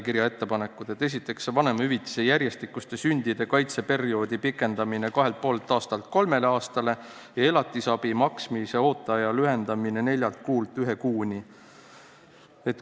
Esiteks, vanemahüvitise järjestikuste sündide kaitsega perioodi pikendamine kahelt ja poolelt aastalt kolme aastani ning elatisabi maksmise ooteaja lühendamine neljalt kuult ühe kuuni.